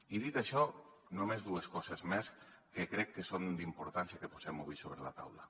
i dit això només dues coses més que crec que és important que posem avui sobre la taula